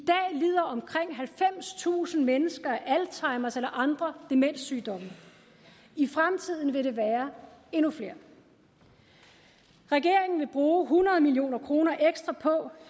lider omkring halvfemstusind mennesker af alzheimers eller andre demenssygdomme og i fremtiden vil det være endnu flere regeringen vil bruge hundrede million kroner ekstra på